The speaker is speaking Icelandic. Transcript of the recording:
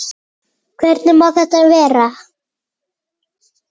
Hvernig má þetta vera?